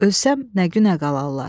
Ölsəm nə günə qalarlar?